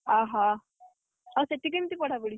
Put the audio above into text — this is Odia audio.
ଅହ, ଆଉ ସେଠି କେମିତି ପଢାପଢି?